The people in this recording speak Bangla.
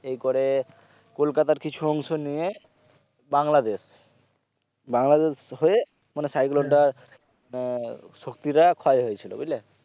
এরকরে কলকাতার কিছু অংশ নিয়ে বাংলাদেশ বাংলাদেশ হয়ে মানে cyclone টা আহ শক্তিটা ক্ষয় হয়েছিল বুঝলে